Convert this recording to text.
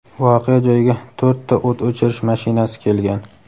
Voqea joyiga to‘rtta o‘t o‘chirish mashinasi kelgan.